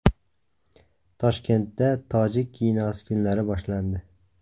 Toshkentda tojik kinosi kunlari boshlandi.